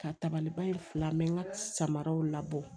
Ka tabaliba in fila n bɛ n ka samaraw labɔ